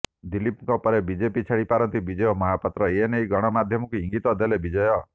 ଦିଲୀପଙ୍କ ପରେ ବିଜେପି ଛାଡ଼ି ପାରନ୍ତି ବିଜୟ ମହାପାତ୍ର ଏନେଇ ଗଣମାଧ୍ୟମକୁ ଇଙ୍ଗିତ ଦେଲେ ବିଜୟ